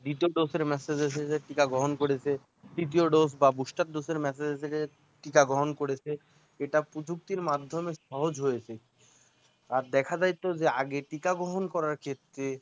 দ্বিতীয় dose এর message এসেছে টিকা গ্রহণ করেছে তৃতীয় dose বা boosterdose এর message এসেছে টিকা গ্রহণ করেছে এটা প্রযুক্তির মাধ্যমে সহজ হয়েছে আর দেখা যায় তো আগে টিকা গ্রহণ করার ক্ষেত্রে